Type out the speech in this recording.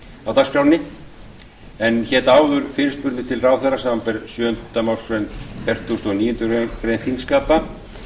á dagskránni en hér áður fyrirspurnir til ráðherra samkvæmt sjöundu málsgrein fertugustu og níundu grein þingskapa